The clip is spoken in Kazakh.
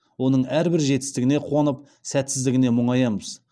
оның әрбір жетістігіне қуанып сәтсіздігіне мұңаямыз